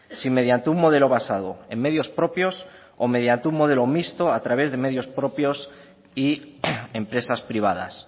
si mediante un modelo basado en medios propios o mediante un modelo mixto a través de medios propios y empresas privadas